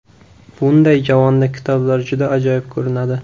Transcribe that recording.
Bunday javonda kitoblar juda ajoyib ko‘rinadi.